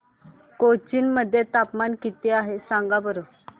कोचीन मध्ये तापमान किती आहे सांगा बरं